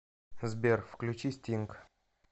сбер включи стинг